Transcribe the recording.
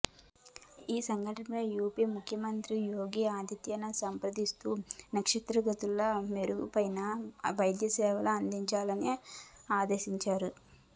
ఈ ఘటనపై యూపీ ముఖ్యమంత్రి యోగి ఆదిత్యనాథ్ స్పందిస్తూ క్షతగాత్రులకు మెరుగైన వైద్యసేమ అందించాలని ఆదేశించారు